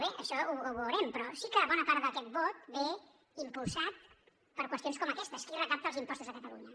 bé això ho veurem però sí que bona part d’aquest vot ve impulsat per qüestions com aquestes qui recapta els impostos a catalunya